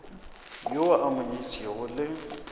yo a mo nyetšego le